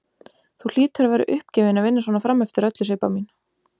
Þú hlýtur að vera uppgefin að vinna svona frameftir öllu, Sibba mín.